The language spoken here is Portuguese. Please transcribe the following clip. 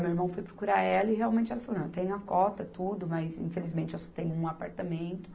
Meu irmão foi procurar ela e realmente ela falou, não, tem a cota tudo, mas infelizmente eu só tenho um apartamento.